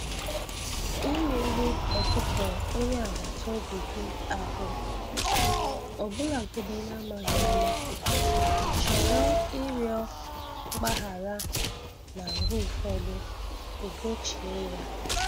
Imerụ ọkụkọ onye agbata obi gị ahụ, ọbụlagodi n'amaghị ama, chọrọ ịrịọ mgbaghara na mgbe ụfọdụ ị gochie ya